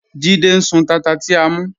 Jídẹ̀ ń sún tátà ti à mú.